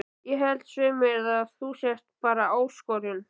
Ég held svei mér þá að þú sért bara ÁSKORUN